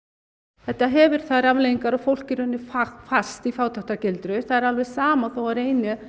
þetta hefur þær afleiðingar að fólk er fast í fátæktargildru það er alveg sama þó það reyni